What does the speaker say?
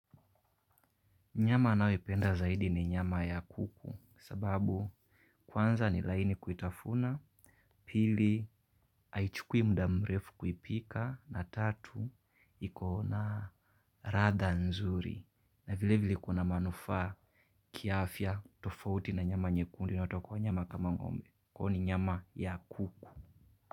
Nyama ninayoipenda zaidi ni nyama ya kuku, sababu kwanza ni laini kuitafuna. Pili haichukui muda mrefu kuipika, na tatu iko na ladha nzuri. Na vile vile kuna manufaa kiafya tofauti na nyama nyekundu inayotoka kwa wanyama kama ng'ombe. Kwahiyo ni nyama ya kuku.